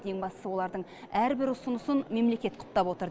ең бастысы олардың әрбір ұсынысын мемлекет құптап отыр